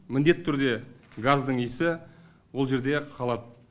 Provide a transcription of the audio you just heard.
міндетті түрде газдың иісі ол жерде қалады